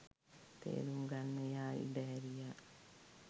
තේරුම් ගන්න එයා ඉඩහැරියා.